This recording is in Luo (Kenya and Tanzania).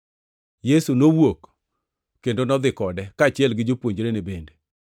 Yesu nowuok kendo nodhi kode, kaachiel gi jopuonjrene bende.